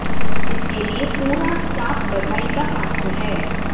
इसके लिए पूरा स्टाफ बधाई का पात्र है